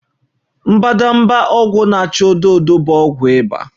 Mbadamba ụrọ na-acha odo odo bụ ọgwụ ịba